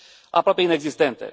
aproape inexistente.